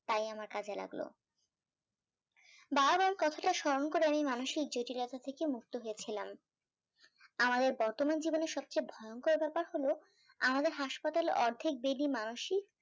তাই আমার কাজে লাগলো বার বার কথাটা স্মরণ করে আমি মানসিক জটিলতা থেকে মুক্ত হয়েছিলাম আমার এই বর্তমান জীবনে সব চেয়ে ভয়ঙ্কর ব্যাপার হলো আমাদের হাসপাতালে অর্ধেক bed ই মানুষই